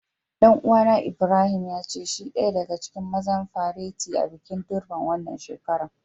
Dan uwa na Ibrahim, ya ce shi daya daga cikin mazan fareti a'bikin Durbar wanan shekaran.